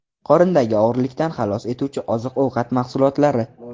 Qorindagi og‘irlikdan xalos etuvchi oziq-ovqat mahsulotlari.